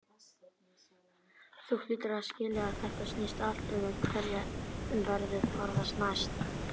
Þú hlýtur að skilja að þetta snýst allt um hverjum verður fórnað næst.